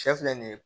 Sɛ filɛ nin ye